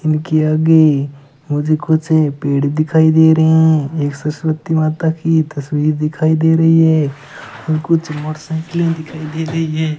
इनके आगे मुझे कुछ पेड़ दिखाई दे रहे हैं एक सरस्वती माता की तस्वीर दिखाई दे रही है कुछ मोटरसाइकिलें दिखाई दे रही हैं।